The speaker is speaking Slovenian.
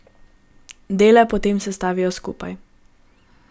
Dele potem sestavijo skupaj.